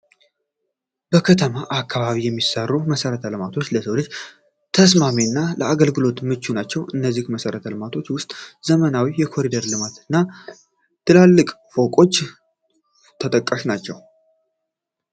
በከተሞች አካባቢ የሚሰሩ መሰረተ ልማቶች ለሰው ልጅ ተስማሚ እና ለአገልግሎት ምቹ ናቸው። ከእነዚህም መሰረት ልማቶች ውስጥ ዘመናዊ የኮሪደር ልማቶች እና ትላልቅ ፎቆች ተጠቃሽ ናቸው።